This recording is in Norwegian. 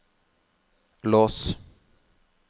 lås